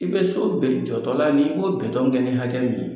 I bɛ so bɛɛ jɔtɔ la ni b'o kɛ ni hakɛ min ye